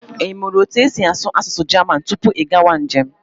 I mụrụ otu esi asụ asụsụ Jaman tupu gị agawa njem?